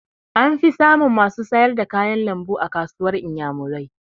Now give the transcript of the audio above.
An fi samun masu sayar da kayan lambu a kasuwar inyamurai